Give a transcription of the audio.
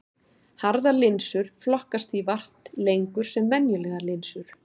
Harðar linsur flokkast því vart lengur sem venjulegar linsur.